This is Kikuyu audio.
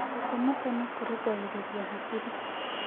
Gũkoma tene kũrũngagĩrĩrĩa hakĩĩrĩ